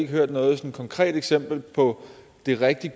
hørt noget sådan konkret eksempel på et rigtig